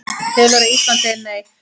Telur að Ísland segi Nei